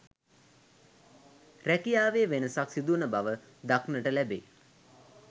රැකියාවේ වෙනසක් සිදුවන බව දක්නට ලැබේ.